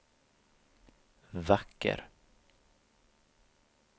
vacker